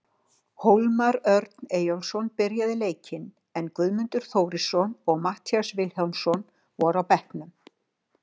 Hólmar Örn Eyjólfsson byrjaði leikinn, en Guðmundur Þórarinsson og Matthías Vilhjálmsson voru á bekknum.